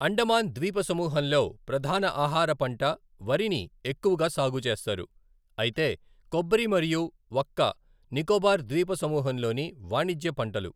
అండమాన్ ద్వీప సమూహంలో ప్రధాన ఆహార పంట వరిని ఎక్కువగా సాగు చేస్తారు, అయితే కొబ్బరి మరియు వక్క నికోబార్ ద్వీప సమూహంలోని వాణిజ్య పంటలు.